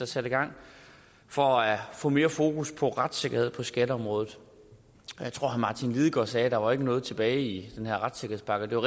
sat i gang for at få sat mere fokus på retssikkerheden på skatteområdet jeg tror at herre martin lidegaard sagde at der ikke var noget tilbage i den her retssikkerhedspakke og det